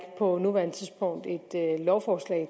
på nuværende tidspunkt et lovforslag